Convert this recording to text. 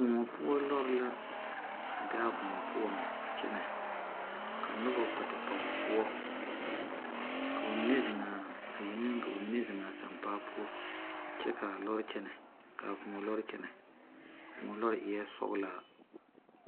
Koɔ poʊ lɔre la a be a koɔ poʊ a kyene. Ka noba kpɛ te pa o poʊ. Ka ba mene zeŋaa a yeŋeŋ ka ba mene zeŋaa a sampaa poʊ kyɛ kaa lɔre kyene. Ka a koɔ lɔre kyene. A koɔ lɔre eɛ sɔglaa